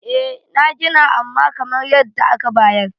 eh an Gina amma kamar yadda aka bayar